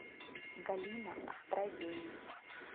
галина островень